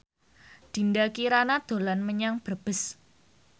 Dinda Kirana dolan menyang Brebes